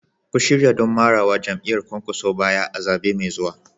Ku shirya don marawa jam'iyyar Kwankwaso baya a zaɓe mai zuwa.